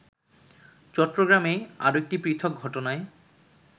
চট্টগ্রামেই আরেকটি পৃথক ঘটনায়